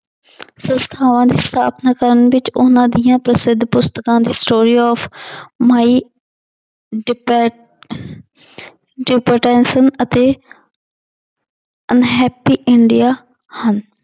ਸੰਸਥਾਵਾਂ ਦੀ ਸਥਾਪਨਾ ਕਰਨ ਵਿੱਚ ਉਹਨਾਂ ਦੀਆਂ ਪ੍ਰਸਿੱਧ ਪੁਸਤਕਾਂ the story of my ਅਤੇ unhappy ਇੰਡੀਆ ਹਨ।